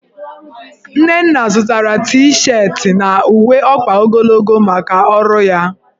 Nnenna zụtara T-shetị na uwe ọkpa ogologo maka ọrụ ya.